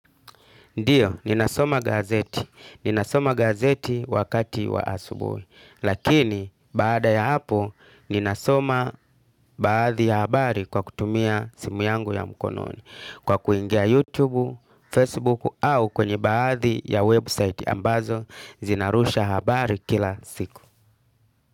Ndiyo, ninasoma gazeti. Ninasoma gazeti wakati wa asubuhi. Lakini, baada ya hapo, ninasoma baadhi ya habari kwa kutumia simu yangu ya mkononi. Kwa kuingia YouTube, Facebook, au kwenye baadhi ya website ambazo, zinarusha habari kila siku.